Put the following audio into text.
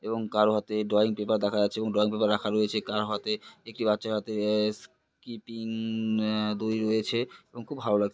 এবং কারো হাতে ড্রয়িং পেপার দেখা যাচ্ছে এবং ড্রয়িং পেপার রাখা রয়েছে কারো হাতে একটি বাচ্চার হাতে আ স্কিপিং আ দড়ি রয়েছে এবং খুব ভালো লাগ--